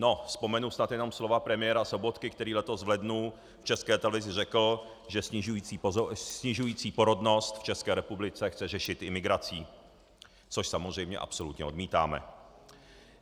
No, vzpomenu snad jenom slova premiéra Sobotky, který letos v lednu v České televizi řekl, že snižující se porodnost v České republice chce řešit imigrací, což samozřejmě absolutně odmítáme.